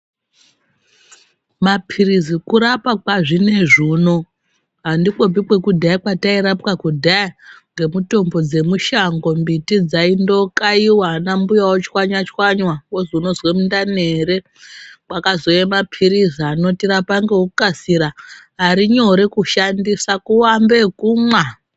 Mapirizi kurapa kwazvinezvi unowu, andikopi kwekudhaya kwatayira pwa kudhaya, ngemitombo dzemushango, mimbiti dzayindokayiwa ana mbuya ochwanya chwanywa, wozi unozwa mundani ere, kwakazouya mapirizi anotirapa ngekukasira ari nyore kushandisa kuambe ekumwa.